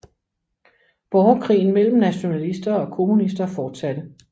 Borgerkrigen mellem nationalister og kommunister fortsatte